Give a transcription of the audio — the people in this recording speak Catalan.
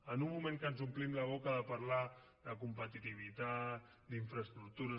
en un moment en què ens omplim la boca de parlar de competitivitat d’infraestructures